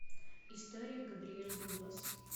история габриэль дуглас